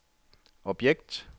objekt